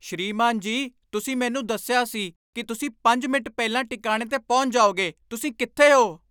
ਸ੍ਰੀਮਾਨ ਜੀ , ਤੁਸੀਂ ਮੈਨੂੰ ਦੱਸਿਆ ਸੀ ਕੀ ਤੁਸੀਂ ਪੰਜ ਮਿੰਟ ਪਹਿਲਾਂ ਟਿਕਾਣੇ 'ਤੇ ਪਹੁੰਚ ਜਾਓਗੇ ਤੁਸੀਂ ਕਿੱਥੇ ਹੋ?